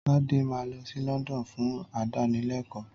Tade máa lọ sí London fún ìdánilekòó